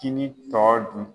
Kini tɔ dun